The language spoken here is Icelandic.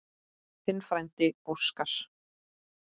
Þinn frændi Óskar.